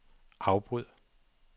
afbryd